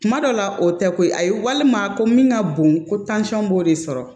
Kuma dɔ la o tɛ ko ye ayi walima ko min ka bon ko tansɔn b'o de sɔrɔ